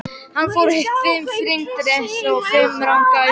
Hann fór fimm hringi réttsælis og fimm rangsælis.